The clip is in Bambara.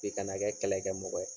I kana kɛ kɛlɛ kɛ mɔgɔ ye.